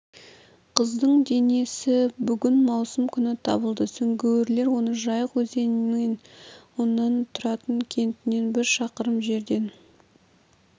қыздың денесі бүгін маусым күні табылды сүңгуірлер оны жайық өзенінен оның тұратын кентінен бір шақырым жерден